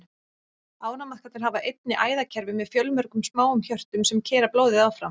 Ánamaðkarnir hafa einnig æðakerfi með fjölmörgum smáum hjörtum, sem keyra blóðið áfram.